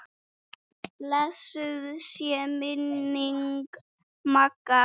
Blessuð sé minning Magga.